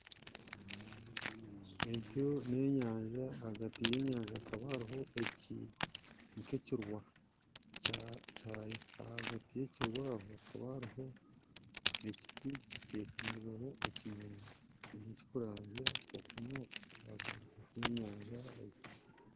Egyo n'enyanja ahagati y'enyanja hakaba hariho ekirwa ahagati y'ekyirwa aho hariho ekiti kitekamirweho ekinyonyi kirikuranzya okunoku ahagati yenyanja egi